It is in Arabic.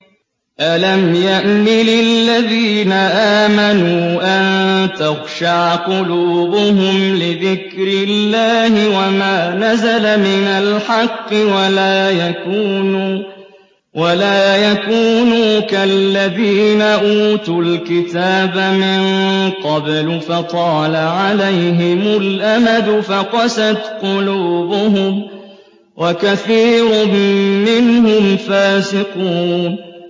۞ أَلَمْ يَأْنِ لِلَّذِينَ آمَنُوا أَن تَخْشَعَ قُلُوبُهُمْ لِذِكْرِ اللَّهِ وَمَا نَزَلَ مِنَ الْحَقِّ وَلَا يَكُونُوا كَالَّذِينَ أُوتُوا الْكِتَابَ مِن قَبْلُ فَطَالَ عَلَيْهِمُ الْأَمَدُ فَقَسَتْ قُلُوبُهُمْ ۖ وَكَثِيرٌ مِّنْهُمْ فَاسِقُونَ